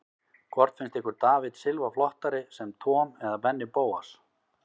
Hvort finnst ykkur David Silva flottari sem Tom eða Benni Bóas?